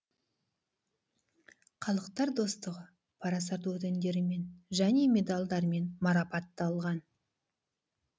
халықтар достығы парасат ордендерімен және медальдармен марапатталған